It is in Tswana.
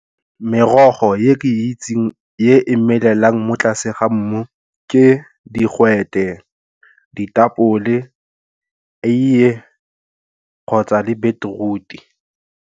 Merogo e ke itseng e e melelang mo tlase ga mmu ke digwete, ditapole, eiye kgotsa le beetroot-e.